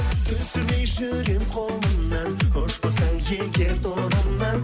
түсірмей жүремін қолымнан ұшпасаң егер торымнан